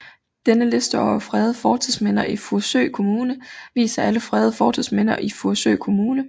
Denne liste over fredede fortidsminder i Furesø Kommune viser alle fredede fortidsminder i Furesø Kommune